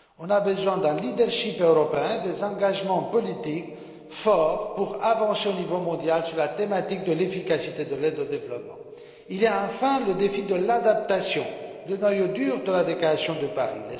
Il faut un leadership européen et des engagements politiques forts pour avancer au niveau mondial sur la thématique de l'efficacité de l'aide au développement. Il y a enfin le défi de l'adaptation, le noyau dur de la déclaration de Paris.